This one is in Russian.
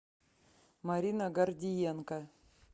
марина гордиенко